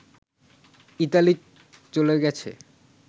Italy চলে গেছে